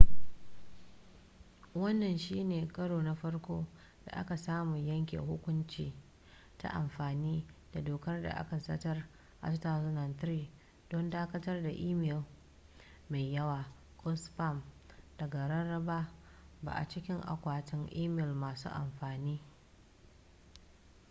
wannan shi ne karo na farko da aka samu yanke hukunci ta amfani da dokar da aka zartar a 2003 don dakatar da imel mai yawa ko spam daga rarraba ba a cikin akwatin imel masu amfani